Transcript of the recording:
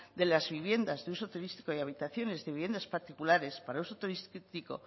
de las viviendas de uso turístico y habitaciones de viviendas particulares para uso turístico